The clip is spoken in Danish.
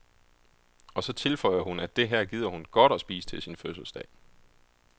Og så tilføjer hun, at det her gider hun godt at spise til sin fødselsdag.